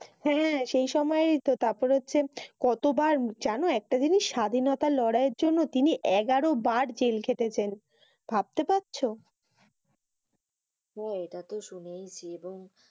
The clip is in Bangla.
হ্যাঁ সেই সময়ইতো। তারপরে হচ্ছে কতবার জানো একটা জিনিস স্বাধীনতা লড়াইয়ের জন্য তিনি এগারো বার জেল খেটেছে। ভাবতে পাড়ছ? হ্যাঁ এটাতো শুনেইছি। এবং